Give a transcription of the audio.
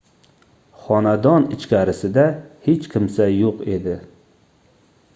xonadon ichkarisida hech kimsa yoʻq edi